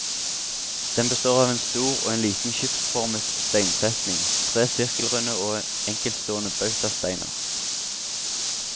Den består av en stor og en liten skipsformet steinsetning, tre sirkelrunde og enkeltstående bautasteiner.